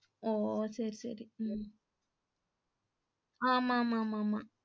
ஒஹ்ஹ சேரி சேரி உம் ஆமா ஆமா மா.